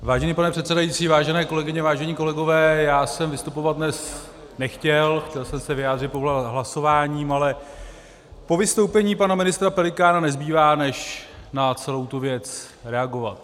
Vážený pane předsedající, vážené kolegyně, vážení kolegové, já jsem vystupovat dnes nechtěl, chtěl jsem se vyjádřit pouze hlasováním, ale po vystoupení pana ministra Pelikána nezbývá než na celou tu věc reagovat.